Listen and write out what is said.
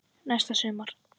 Næsta sumar.